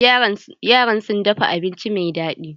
Yaran sun dafa abinci mai daɗi.